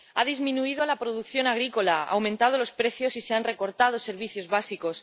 Ha disminuido la producción agrícola, han aumentado los precios y se han recortado servicios básicos.